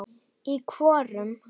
Í hvorum?